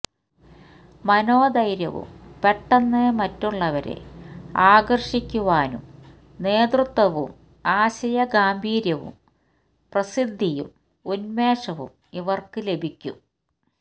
മനോധൈര്യവും പെട്ടെന്ന് മറ്റുള്ളവരെ ആകർഷിക്കുവാനും നേതൃത്വവും ആശയഗാംഭീര്യവും പ്രസിദ്ധിയും ഉന്മേഷവും ഇവർക്ക് ലഭിക്കും